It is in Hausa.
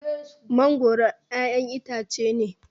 mangoro ƴaƴan itace ne